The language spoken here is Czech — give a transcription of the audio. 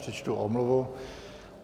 Přečtu omluvu.